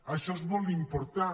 això és molt important